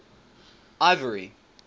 ivory